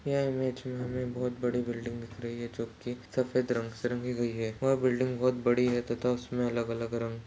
यह इमेज में हमें बोहोत बड़ी बिल्डिंग दिख रही है जो कि सफ़ेद रंग से रंगी गई है वो बिल्डिंग बोहोत बड़ी है तथा उसमे अलग-अलग रंग--